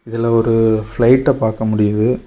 இதுல ஒரு ஃப்ளைட்ட பாக்க முடியுது.